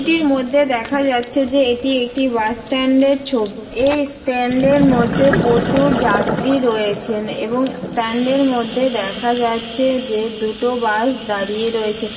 ছবিটির মধ্যে দেখা যাচ্ছে যে এটি একটি বাস স্ট্যান্ড এর ছবি এই স্ট্যান্ড এর মধ্যে প্রচুর যাত্রী রয়েছেন এবং স্ট্যান্ড এর মধ্যে দেখা যাচ্ছে যে দুটো বাস দাঁড়িয়ে রয়েছে।